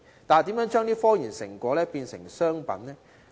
但是，如何將這些科研成果轉化成為商品？